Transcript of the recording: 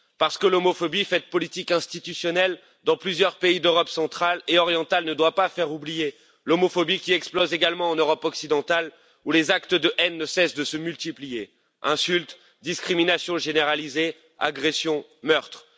Parce que l'homophobie faite politique institutionnelle dans plusieurs pays d'Europe centrale et orientale ne doit pas faire oublier l'homophobie qui explose également en Europe occidentale, où les actes de haine ne cessent de se multiplier insultes, discriminations généralisées, agressions, meurtres.